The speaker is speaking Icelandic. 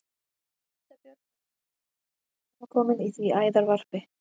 Hvítabjörn hefur ef til vill gert sig heimakominn í því æðarvarpi.